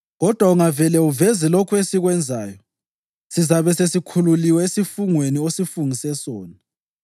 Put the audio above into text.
Kodwa ungavele uveze lokhu esikwenzayo, sizabe sesikhululiwe esifungweni osifungise sona.”